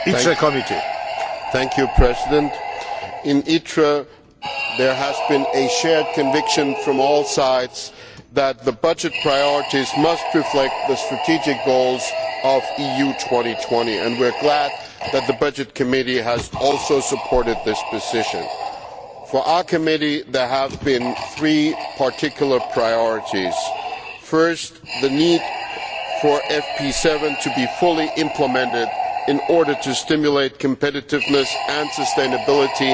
Mr President, in the Committee on Industry, Research and Energy there has been a shared conviction from all sides that the budget priorities must reflect the strategic goals of EU 2020 and we are glad that the Committee on Budgets has also supported this position. For our committee there have been three particular priorities. First, the need for FP7 to be fully implemented in order to stimulate competitiveness and sustainability